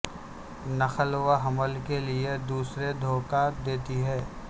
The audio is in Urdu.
نقل و حمل کے لئے دوسرے دھوکہ دیتی ہے